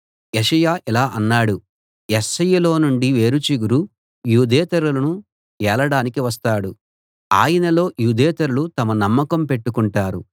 యెషయా ఇలా అన్నాడు యెష్షయిలో నుండి వేరు చిగురు యూదేతరులను ఏలడానికి వస్తాడు ఆయనలో యూదేతరులు తమ నమ్మకం పెట్టుకుంటారు